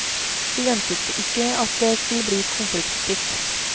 Vi ventet ikke at det skulle bli konfliktfritt.